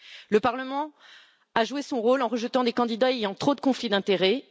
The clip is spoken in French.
Le Parlement a joué son rôle en rejetant des candidats ayant trop de conflits d'intérêts.